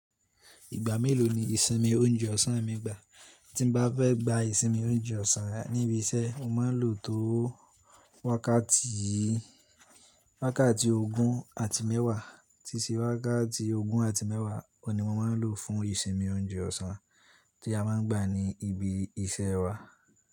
Ìgbà mélòó ni ìsinmi oúnjẹ ọ̀sán mi gbà? Tí n bá fẹ́ gba ìsinmi oúnjẹ ọ̀sán níbi iṣẹ́, mo máa ń lò tó wákàtí ogún àti mẹ́wàá. Tí sí wákàtí ogún àti mẹ́wàá kọ ni mo máa ń lò fún ìsinmi oúnjẹ ọ̀sán tí a máa ń gbà ní ibi iṣẹ́ wa.